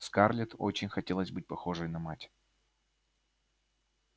скарлетт очень хотелось быть похожей на мать